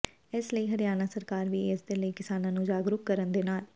ਇਸ ਲਈ ਹਰਿਆਣਾ ਸਰਕਾਰ ਵੀ ਇਸਦੇ ਲਈ ਕਿਸਾਨਾਂ ਨੂੰ ਜਾਗਰੂਕ ਕਰਨ ਦੇ ਨਾਲ